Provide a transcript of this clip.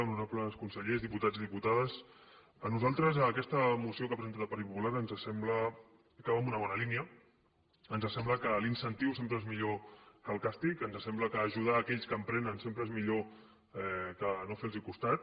honorables consellers diputats i diputades a nosaltres aquesta moció que ha presentat el partit popular ens sembla que va en una bona línia ens sembla que l’incentiu sempre és millor que el càstig ens sembla que ajudar aquells que emprenen sempre és millor que no fer los costat